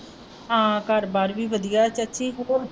ਹਾਂ ਘਰ ਬਾਹਰ ਵੀ ਵਧੀਆ ਹੈ ਚਾਚੀ .